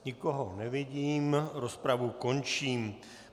Nikoho nevidím, rozpravu končím.